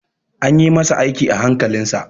An ƴi masa aiki a hankalin sa.